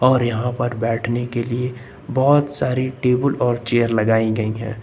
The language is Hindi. और यहां पर बैठने के लिए बहोत सारी टेबल और चेयर लगाई गई है।